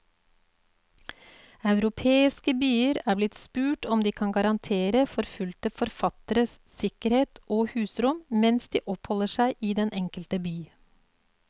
Europeiske byer er blitt spurt om de kan garantere forfulgte forfattere sikkerhet og husrom mens de oppholder seg i den enkelte by.